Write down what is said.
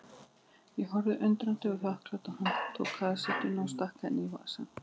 Ég horfði undrandi og þakklát á hann, tók kassettuna og stakk henni í vasann.